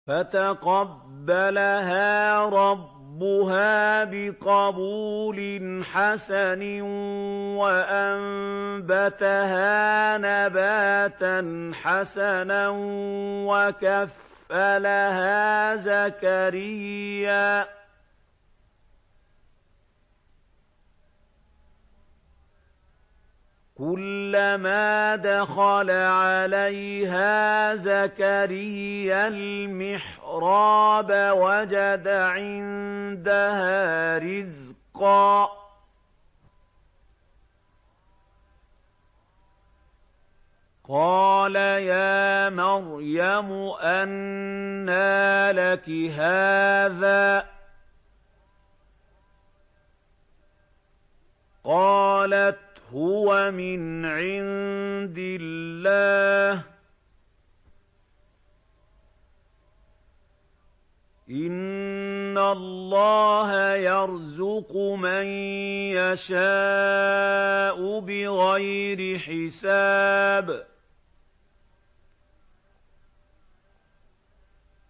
فَتَقَبَّلَهَا رَبُّهَا بِقَبُولٍ حَسَنٍ وَأَنبَتَهَا نَبَاتًا حَسَنًا وَكَفَّلَهَا زَكَرِيَّا ۖ كُلَّمَا دَخَلَ عَلَيْهَا زَكَرِيَّا الْمِحْرَابَ وَجَدَ عِندَهَا رِزْقًا ۖ قَالَ يَا مَرْيَمُ أَنَّىٰ لَكِ هَٰذَا ۖ قَالَتْ هُوَ مِنْ عِندِ اللَّهِ ۖ إِنَّ اللَّهَ يَرْزُقُ مَن يَشَاءُ بِغَيْرِ حِسَابٍ